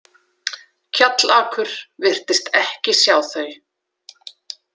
Kjallakur virtist ekki sjá þau.